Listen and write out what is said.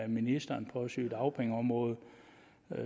ministeren på sygedagpengeområdet